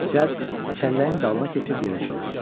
Cəld çəlləyin dalına keçib yerə çömbəldi.